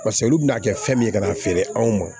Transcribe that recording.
Paseke olu bɛna kɛ fɛn min ye ka n'a feere anw ma